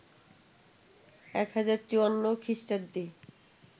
১০৫৪ খ্রীষ্টাব্দে